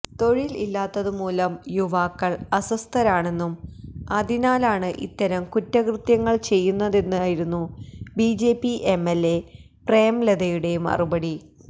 തൊഴിൽ ഇല്ലാത്തതുമൂലം യുവാക്കൾ അസ്വസ്ഥരാണെന്നും അതിനാലാണ് ഇത്തരം കുറ്റകൃത്യങ്ങൾ ചെയ്യുന്നതെന്നുമായിരുന്നു ബിജെപി എംഎൽഎ പ്രേംലതയുടെ മറുപടി